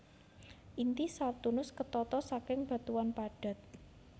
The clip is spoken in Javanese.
Inti Saturnus ketata saking batuan padat